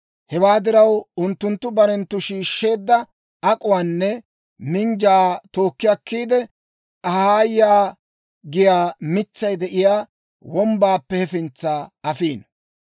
Hewaa diraw, unttunttu barenttu shiishsheedda ak'uwaanne minjjaa tookki akkiide, Ahaayaa giyaa mitsay de'iyaa wombbaappe hefintsa afiino.